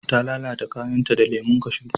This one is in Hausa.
ta lalata kayan ta da lemon kashu